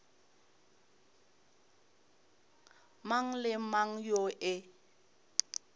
mang le mang yoo e